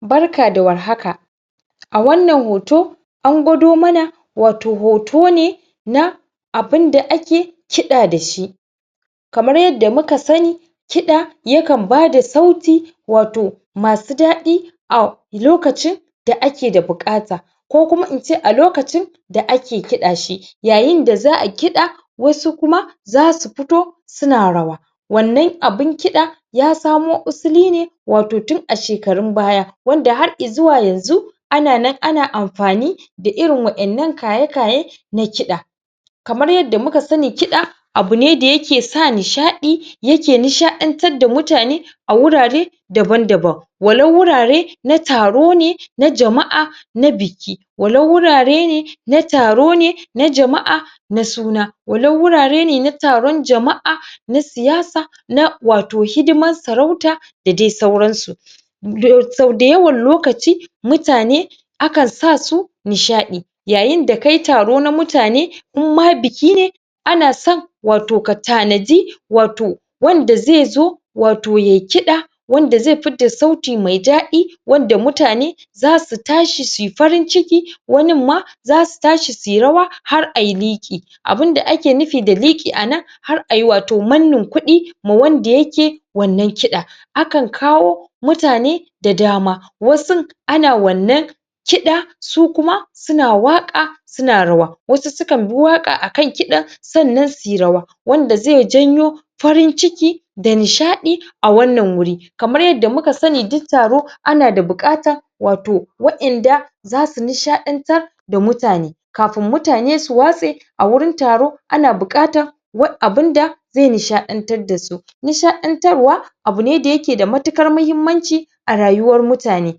Barka da warhaka a wannan hoto an nuna mana abin da ake kida da shi kamar yadda muka sani kida yana ba da sauti mai dadi alokacin da ake da bukata ko alokacin da ake kidashi yayin da za'a kida zasu kuma za sufito suna rawa wannan abun kida ya samo asaline tun a shekarun baya wanda har izuwa yanzu ana nan ana amfani da irin wannan kayan kida kamar yadda muka sani kida abune da yake sa nishadi yake nisha dantar da mutane a wurare daban-daban ko wurare na tarone na jama'a ko na biki ko wurin tarone, na jama'a ko na suna ko wurin taron jama'a ko na siyasa ko na hidimar sarauta da dai sauran su dayawan lokaci akan sa mutane akan sasu nishadi yayin da kayi taro na mutane inma bikine anason katanadi wanda zezo ya yi kida wanda zai fitar da suti mai dadi yasa mutane su tashi suyi farin ciki har suyi liki abida ake nufi da liki anan wato har ayi mannin kudi ma wanda yake wannan kida ana kawo mutane da dama ana kida sukuma suna waka suna rawa wasu sukan bi waka akan kidan sannan suyi rawa wanda zai janyo farinciki da nishadi a wannan guri kamar yadda muka sani duk taro ana da bukatan wa'inda zasu nishadantar da mutane kafin mutane su watse awurin taro ana bukatan abun da zai nishadantar da su nishadantarwa abune da yake da matukar muhimmanci arayuwar mutane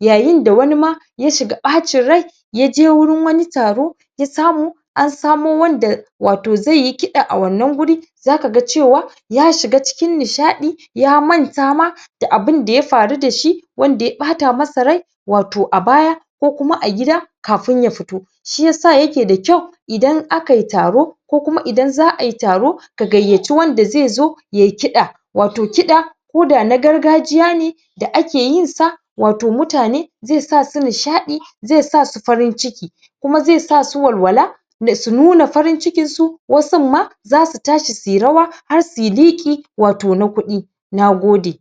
yayin da wanima ya shiga bacin rai, ya je wurin wani taro ya samu ansamo wanda zai yi kida a wannan guri zakaga cewa ya shiga cikin nishadi ya mantama da abin da ya faru da shi wanda ya bata masa rai abaya ko a gida kafin yafito shiyasa yake da kyau idan za'ayi taro agaiyaci makidi kida koda na gargajiyane da ake yinsa wato yasa mutane nisha da farinciki da walwala kuma sununa farincikin su wasuma za su tashi su yi rawa da liki na kudi nagode